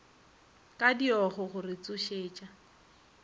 ka diogo go re tsošetša